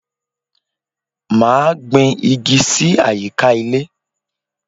Máa gbìn igi sì àyíká ilé